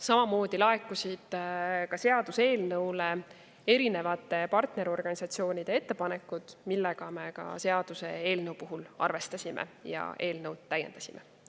Seaduseelnõu kohta laekusid ka erinevate partnerorganisatsioonide ettepanekud, millega me arvestasime ja eelnõu täiendasime.